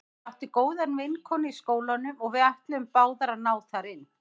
Ég átti góða vinkonu í skólanum og við ætluðum báðar að ná þar inn.